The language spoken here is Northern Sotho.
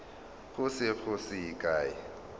go se go ye kae